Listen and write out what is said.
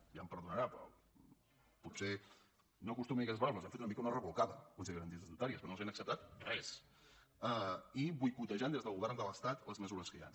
i ja em perdonarà potser no acostumo a dir aquestes paraules però els han fet una mica una rebolcada el consell de garanties estatutàries que no els han acceptat res i boicotejant des del govern de l’estat les mesures que hi han